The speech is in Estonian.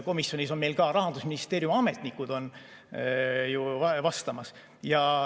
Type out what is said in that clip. Komisjonis on meil ka Rahandusministeeriumi ametnikud ju vastamas.